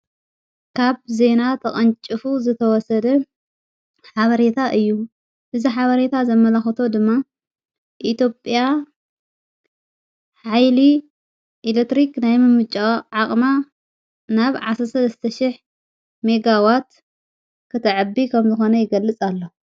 ካብ ዜና ተቐንጭፉ ዝተወሰደ ሓበሬታ እዩ ።እዝ ሓበሬታ ዘመላኽቶ ድማ ኢትዮጵያ ኃይሊ ኤሌትሪኽ ናይ ምምጭዋ ዓቕማ ናብ ዓሠሰት ስተሽሕ ሜጋዋት ክተዕቢ ከም ዝኾነ ይገልጽ ኣሎ።